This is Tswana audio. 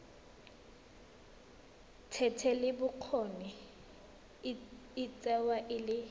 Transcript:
thetelelobokgoni e tsewa e le